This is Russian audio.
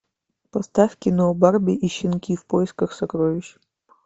поставь кино барби и щенки в поисках сокровищ